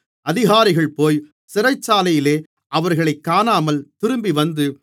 அதிகாரிகள் போய் சிறைச்சாலையிலே அவர்களைக் காணாமல் திரும்பிவந்து